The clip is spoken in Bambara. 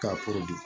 K'a